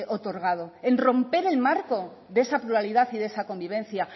otorgado en romper el marco de esa pluralidad y de esa convivencia